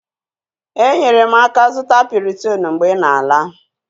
Enyere m aka zụta Piriton mgbe ị na-ala.